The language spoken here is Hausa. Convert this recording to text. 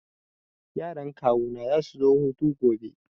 Yaran kawuna za su zo hutu gobe.